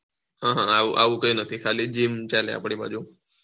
આવું કાય નથી ખાલી જીમ ચાલે આપળી બાજુ